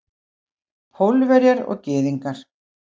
Pólverjar og Gyðingar.